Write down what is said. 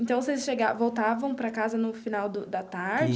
Então, vocês chegavam voltavam para casa no final do da tarde?